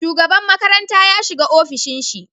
Shugaban makaranta ya shiga ofishin shi